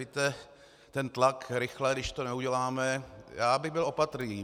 Víte, ten tlak, rychle, když to neuděláme - já bych byl opatrný.